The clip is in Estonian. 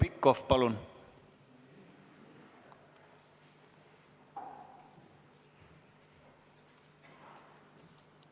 Heljo Pikhof, palun!